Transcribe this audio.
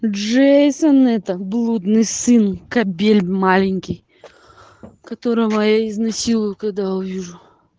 джейсон это блудный сын кабель маленький которого я изнасилую когда увижу